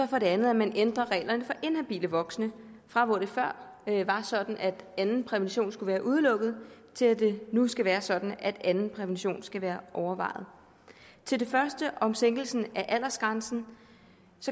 for det andet at man ændrer reglerne for inhabile voksne fra hvor det før var sådan at anden prævention skulle være udelukket til at det nu skal være sådan at anden prævention skal være overvejet til det første om sænkelsen af aldersgrænsen